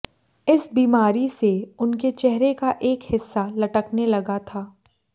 इस बीमारी से उनके चेहरे का एक हिस्सा लटकने लगा था